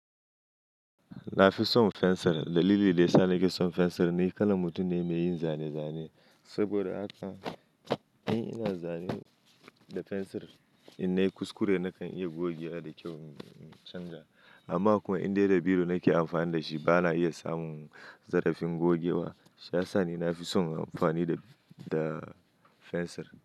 Na fi son fensir. Dalili da ya sa na ke son fensir ne kalan mutum ne mai yin zane-zane. Saboda haka in ina zanen da fensir, in nayi kuskure na kan iya gogewa da kyau, in canza. Amma kuma in dai da biro na ke amfani da shi, ba na iya samun zarafin gogewa. Shiyasa ni na fi son amfani da fensir.